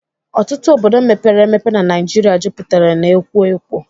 Ọtụtụ obodo mepere emepe n'Naijiria jupụtara n'ekwo ekwo